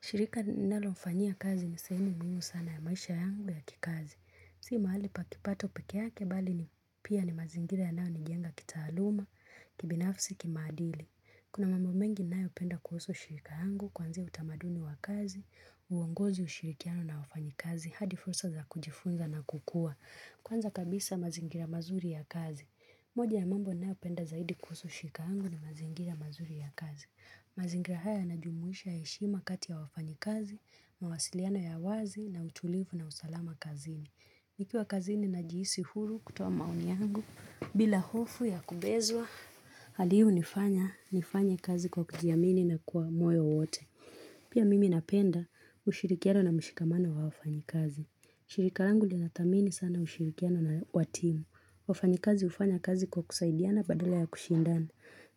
Shirika ninalofanyia kazi ni sehemu muhimu sana ya maisha yangu ya kikazi si mahali pa kipato peke yake bali pia ni mazingira yanaonijenga kitahaluma kibinafsi kimaadili kuna mambo mengi ninyopenda kuhusu shirika yangu kuanzia utamaduni wa kazi uongozi ushirikiano na wafanyikazi hadi fursa za kujifunza na kukua Kwanza kabisa mazingira mazuri ya kazi. Moja ya mambo ninayopenda zaidi kuhusu shirika yangu ni mazingira mazuri ya kazi mazingira haya yanajumuisha heshima kati ya wafanyikazi mawasiliano ya wazi na utulifu na usalama kazini nikiwa kazini najihisi huru kutoa maoni yangu bila hofu ya kubezwa hali hii unifanya nifanye kazi kwa kujiamini na kwa moyo wote pia mimi ninapenda ushirikiano na mshikamano wa wafanyikazi shirika langu linathamini sana ushirikiano wa timu wafanyikazi ufanya kazi kwa kusaidiana badala ya kushindana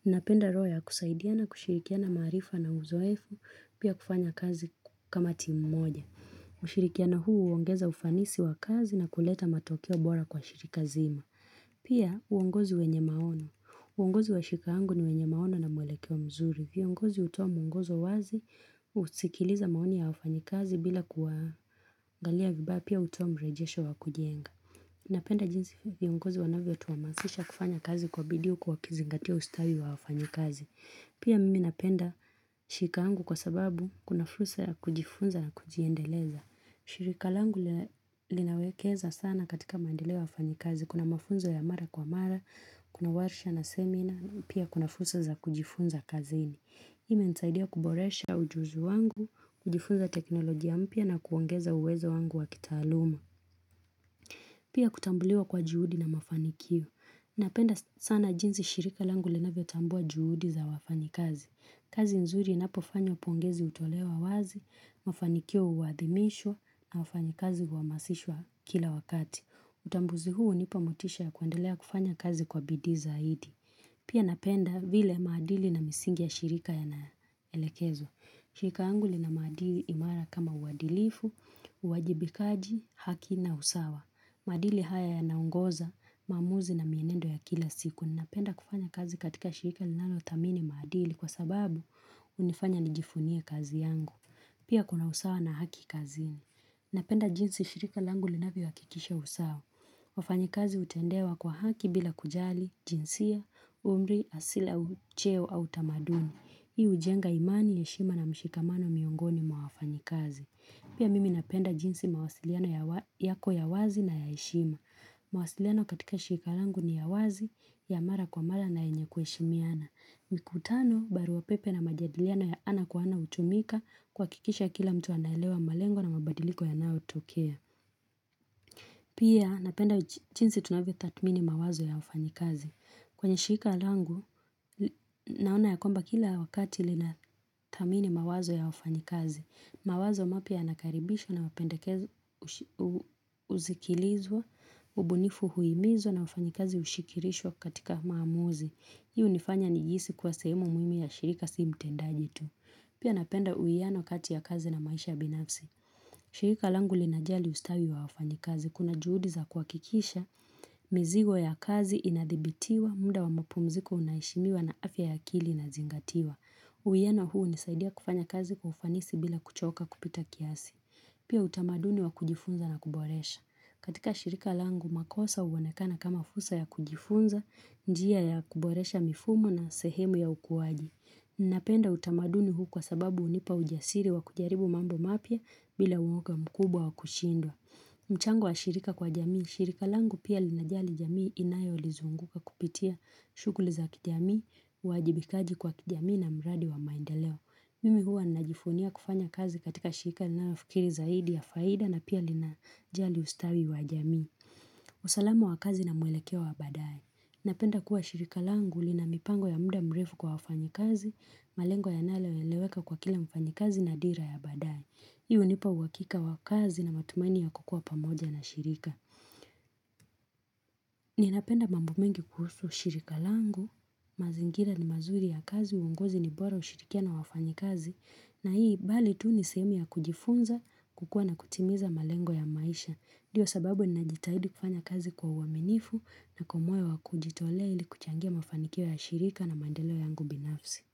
ninapenda roho ya kusaidiana kushirikiana maarifa na uzoefu pia kufanya kazi kama timu moja ushirikiano huu uongeza ufanisi wa kazi na kuleta matokeo bora kwa shirika zima pia uongozi wenye maono uongozi wa shirika langu ni wenye maono na mwelekeo mzuri viongozi utoa muongozo wazi usikiliza maoni ya wafanyikazi bila kuangalia vibaya pia utoa mrejesho wa kujenga napenda jinsi viongozi wanavyotuamasisha kufanya kazi kwa bidii huku wakizingatia ustawi wa wafanyikazi pia mimi ninapenda shirika yangu kwa sababu kuna fursa ya kujifunza na kujiendeleza shirika langu linawekeza sana katika maendeleo ya wafanyikazi kuna mafunzo ya mara kwa mara kuna warsha na seminar pia kuna fursa za kujifunza kazini hii imenisaidia kuboresha ujuzi wangu kujifunza teknolojia mpya na kuongeza uwezo wangu wa kitaaluma pia kutambuliwa kwa juhudi na mafanikio ninapenda sana jinsi shirika langu linavyotambua juhudi za wafanyikazi kazi nzuri inapofanywa pongezi utolewa wazi mafanikio uhadhimishwa na wafanyikazi uhamasishwa kila wakati utambuzi huu unipa motisha ya kuendelea kufanya kazi kwa bidii zaidi pia napenda vile maadili na misingi ya shirika yanaelekezwa shirika yangu lina maadili imara kama uadilifu uwajibikaji haki na usawa maadili haya yanaongoza maamuzi na mienendo ya kila siku ninapenda kufanya kazi katika shirika linalothamini maadili kwa sababu unifanya nijifunie kazi yangu pia kuna usawa na haki kazini ninapenda jinsi shirika langu linavyohakikisha usawa wafanyikazi utendewa kwa haki bila kujali jinsia umri asili au cheo au tamaduni hii ujenga imani heshima na mshikamano miongoni mwa wafanyikazi pia mimi ninapenda jinsi mawasiliano yako ya wazi na ya heshima maawasiliano katika shirika langu ni ya wazi ya mara kwa mara na yenye kueshimiana mikutano barua pepe na majadiliano ya ana kwa ana hutumika kuhakikisha kila mtu anaelewa malengo na mabadiliko yanayotokea pia ninapenda jinsi tunavyotathmini mawazo ya wafanyikazi kwenye shirika langu naona ya kwamba kila wakati linathamini mawazo ya wafanyikazi mawazo mapya yanakaribishwa na mapendekezo usikilizwa ubunifu huimizwa na wafanyikazi ushirikishwa katika maamuzi hii unifanya nijihisi kwa sehemu muhimu ya shirika si mtendaji tu pia napenda uwiano kati ya kazi na maisha binafsi shirika langu linajali ustawi wa wafanyikazi kuna juhudi za kuhakikisha mizigo ya kazi inadhibitiwa muda wa mapumziko unaeheshimiwa na afya ya akili inazingatiwa uwiano huu unisaidia kufanya kazi kwa ufanisi bila kuchoka kupita kiasi pia utamaduni wa kujifunza na kuboresha katika shirika langu makosa uonekana kama fursa ya kujifunza njia ya kuboresha mifumo na sehemu ya ukuwaji napenda utamaduni huu kwa sababu unipa ujasiri wa kujaribu mambo mapya bila uoga mkubwa wa kushindwa mchango wa shirika kwa jamii shirika langu pia linajali jamii inayolizunguka kupitia shughuli za kijamii uwajibikaji kwa kijamii na mradi wa maendeleo mimi huwa najifunia kufanya kazi katika shirika linalofikiri zaidi ya faida na pia linajali ustawi wa jamii usalamu wa kazi na mwelekeo wa baadae napenda kuwa shirika langu lina mipango ya muda mrefu kwa wafanyikazi malengo yanayoeleweka kwa kila mfanyikazi na dira ya baadae hii unipa uhakika wa kazi na matumaini ya kukuwa pamoja na shirika ninapenda mambo mengi kuhusu shirika langu mazingira ni mazuri ya kazi uongozi ni bora kushirikiana na wafanyikazi na hii bali tu ni sehemu ya kujifunza kukua na kutimiza malengo ya maisha ndio sababu ninajitahidi kufanya kazi kwa uaminifu na kwa moyo wa kujitolea ili kuchangia mafanikio ya shirika na maendelo yangu binafsi.